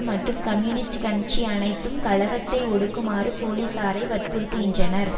மற்றும் கம்யூனிஸ்ட் கட்சி அனைத்தும் கலகத்தை ஒடுக்குமாறு போலீசாரை வற்புறுத்துகின்றனர்